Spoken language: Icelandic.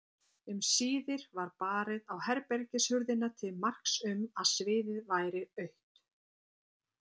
Um síðir var barið á herbergishurðina til marks um að sviðið væri autt.